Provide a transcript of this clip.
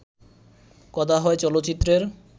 কথা হয় চলচ্চিত্রের